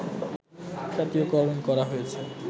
জাতীয়করণ করা হয়েছে